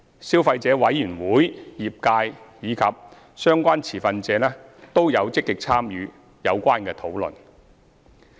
消費者委員會、業界及相關持份者均有積極參與有關討論。